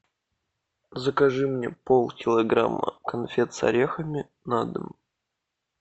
закажи мне полкилограмма конфет с орехами на дом